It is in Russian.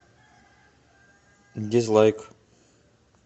дизлайк